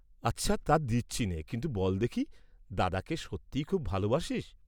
আচ্ছা, তা দিচ্ছিনে, কিন্তু বল্ দেখি, দাদাকে সত্যিই খুব ভালবাসিস?